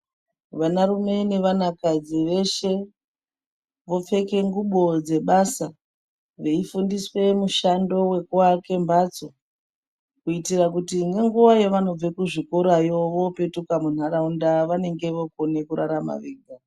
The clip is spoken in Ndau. Vanarume nevanakadzi veshe vopfeke ngubo dzebasa veifundiswe mushando vekuvakake mhatso. Kuitire kuti nenguva yavaobve kuzvikorayo opetuka muntaraunda vanenge vokona kurarama vega.